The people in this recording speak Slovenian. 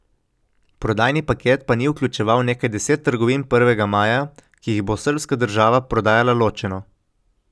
Prodajni paket pa ni vključeval nekaj deset trgovin Prvega maja, ki jih bo srbska država prodajala ločeno.